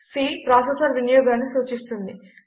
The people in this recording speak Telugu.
C ప్రాసెసర్ వినియోగాన్ని సూచిస్తుంది